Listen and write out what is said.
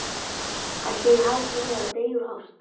ætli ég hafi ekki verið að deyja úr ást.